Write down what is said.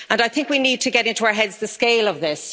And I think we need to get into our heads the scale of this.